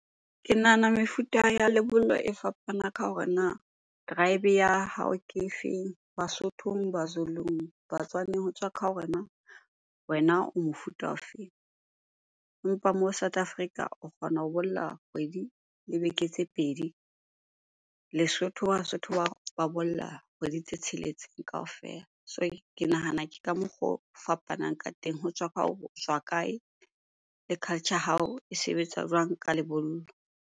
Ke nahana mefuta ya lebollo e fapana ka hore na tribe ya hao ke efeng? Basothong, Bazulung, Batswaneng ho tswa ka hore na wena o mofuta ofeng? Empa moo South Africa o kgona ho bolla kgwedi le beke tse pedi. Lesotho, Basotho ba bolla kgwedi tse tsheletseng kaofela. So ke nahana ke ka mokgo o fapanang ka teng. Ho tswa ka hore o tswa kae le culture ya hao e sebetsa jwang ka lebollo.